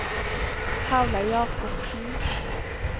Paula Jacobsen